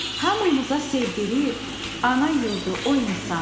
Hamımıza sevdirir ana yurdu o insan,